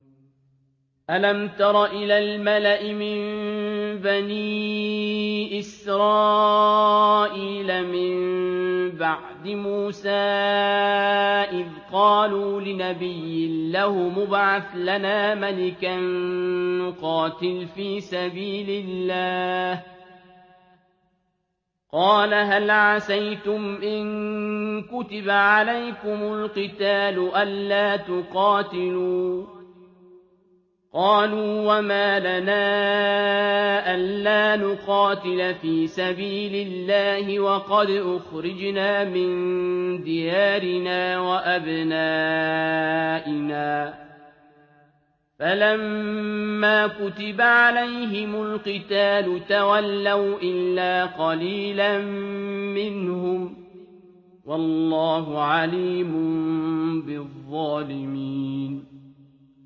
أَلَمْ تَرَ إِلَى الْمَلَإِ مِن بَنِي إِسْرَائِيلَ مِن بَعْدِ مُوسَىٰ إِذْ قَالُوا لِنَبِيٍّ لَّهُمُ ابْعَثْ لَنَا مَلِكًا نُّقَاتِلْ فِي سَبِيلِ اللَّهِ ۖ قَالَ هَلْ عَسَيْتُمْ إِن كُتِبَ عَلَيْكُمُ الْقِتَالُ أَلَّا تُقَاتِلُوا ۖ قَالُوا وَمَا لَنَا أَلَّا نُقَاتِلَ فِي سَبِيلِ اللَّهِ وَقَدْ أُخْرِجْنَا مِن دِيَارِنَا وَأَبْنَائِنَا ۖ فَلَمَّا كُتِبَ عَلَيْهِمُ الْقِتَالُ تَوَلَّوْا إِلَّا قَلِيلًا مِّنْهُمْ ۗ وَاللَّهُ عَلِيمٌ بِالظَّالِمِينَ